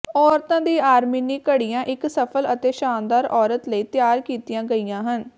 ਔਰਤਾਂ ਦੀ ਆਰਮੀਨੀ ਘੜੀਆਂ ਇੱਕ ਸਫਲ ਅਤੇ ਸ਼ਾਨਦਾਰ ਔਰਤ ਲਈ ਤਿਆਰ ਕੀਤੀਆਂ ਗਈਆਂ ਹਨ